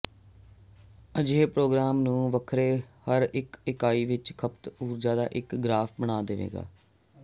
ਅਜਿਹੇ ਪ੍ਰੋਗਰਾਮ ਨੂੰ ਵੱਖਰੇ ਹਰ ਇਕਾਈ ਲਈ ਖਪਤ ਊਰਜਾ ਦਾ ਇੱਕ ਗਰਾਫ਼ ਬਣਾ ਦੇਵੇਗਾ